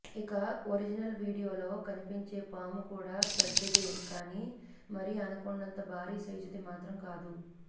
ఇక ఒరిజనల్ వీడియోలో కనిపించే పాము కూడా పెద్దదే కానీ మరీ అనకొండంత భార సైజుది మాత్రం కాదు